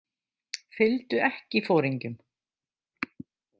Fylgdu ekki foringjum.